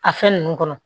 A fɛn ninnu kɔnɔ